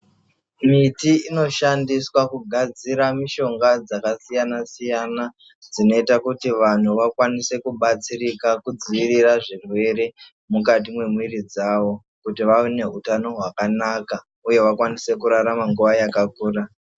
Miti inoshandiswa kugadzira mushonga dzakasiyana siyana dzinoita kuti vantu vakwanise kubatsirika kudzivirira zvirwere mukati mwemwiri dzavo kuti vave nehutano hwakanaka uye vaone kurarama nguwa yakakura.